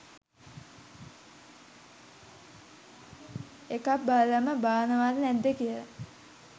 එකක් බලලම බානව ද නැද්ද කියල